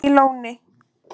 í Lóni